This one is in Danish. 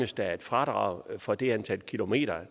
der et fradrag for det antal kilometer